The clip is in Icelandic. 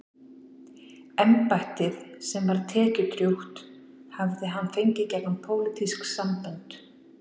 Embættið, sem var tekjudrjúgt, hafði hann fengið gegnum pólitísk sambönd.